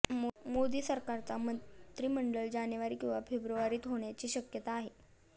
मोदी सरकारचा मंत्रिमंडळ जानेवारी किंवा फेब्रुवारीत होण्याची शक्यता आहे